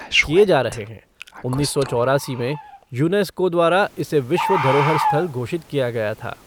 किए जा रहे हैं, उन्नीस सौ चौरासी में यूनेस्को द्वारा इसे विश्व धरोहर स्थल घोषित किया गया था।